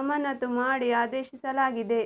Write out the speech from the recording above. ಅಮಾನತು ಮಾಡಿ ಆದೇಶಿಸಲಾಗಿದೆ